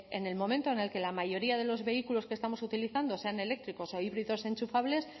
bueno pues en el momento en el que la mayoría de los vehículos que estamos utilizando sean eléctricos o híbridos enchufables